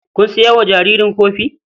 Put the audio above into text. Kun sayo wa jaririn kofin?